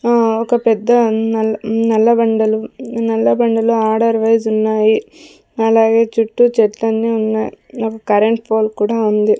అహ్ ఒక పెద్ద నల్ నల్ల బండలు నల్ల బండాలు అడర్ వైస్ ఉన్నాయి అలాగే చుట్టూ చెట్లని ఉన్నాయి ఒక కరెంట్ పోల్ కూడా ఉంది.